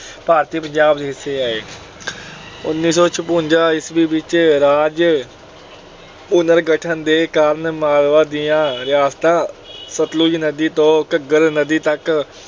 ਭਾਰਤੀ ਪੰਜਾਬ ਦੇ ਹਿੱਸੇ ਆਏ। ਉਨੀ ਸੌ ਛਪੰਜਾ ਈਸਵੀ ਵਿੱਚ ਰਾਜ ਪੁਨਰਗਠਨ ਦੇ ਕਾਰਨ ਮਾਲਵਾ ਦੀਆਂ ਰਿਆਸਤਾਂ ਸਤਲੁਜ ਨਦੀ ਤੋਂ ਘੱਗਰ ਨਦੀ ਤੱਕ